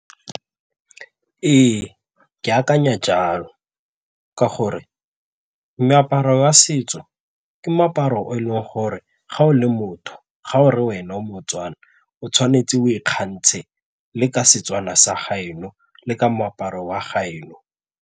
Ee, ke akanya jalo ka gore meaparo ya setso ke moaparo o e leng gore ga o le motho ga o re wena o moTswana o tshwanetse o ikgontshe le ka Setswana sa gaeno le ka moaparo wa gaeno.